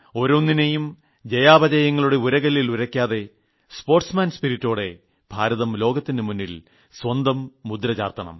ഓരോന്നിനെയും ജയാപചയങ്ങളുടെ ഉരകല്ലിൽ ഉരയ്ക്കാതെ സ്പോർട്സ്മാൻ സ്പിരിറ്റോടെ ഭാരതം ലോകത്തിന് മുന്നിൽ സ്വന്തം മുദ്ര ചാർത്തണം